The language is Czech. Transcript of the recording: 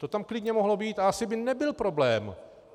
To tam klidně mohlo být a asi by nebyl problém.